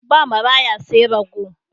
Ba maraya sai raggo.